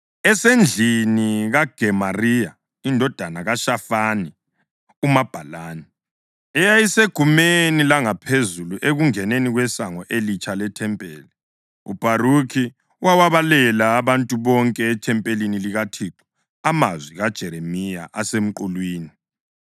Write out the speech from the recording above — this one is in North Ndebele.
Esendlini kaGemariya indodana kaShafani umabhalani, eyayisegumeni langaphezulu ekungeneni kweSango eLitsha lethempeli, uBharukhi wawabalela abantu bonke ethempelini likaThixo amazwi kaJeremiya asemqulwini.